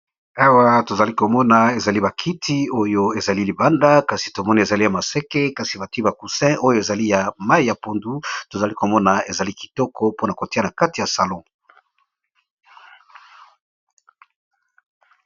Awa tozali komona, ezali bakiti oyo ezali libanda ! kasi tomona ezali ya maseke kasi bati ba coussin oyo ezali ya mayi ya pondu tozali komona ezali kitoko mpona kotia na kati ya salon.